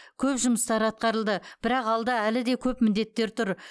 көп жұмыстар атқарылды бірақ алда әлі де көп міндеттер тұр